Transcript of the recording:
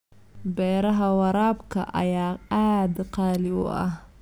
Beeraha waraabka ayaa aad qaali u ah.